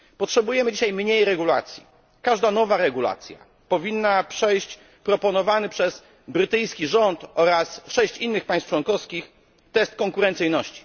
Potrzebujemy dzisiaj mniej regulacji. Każda nowa regulacja powinna przejść proponowany przez brytyjski rząd oraz 6 innych państw członkowskich test konkurencyjności.